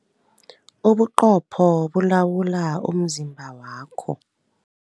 Ubuqopho bulawula umzimba wakho.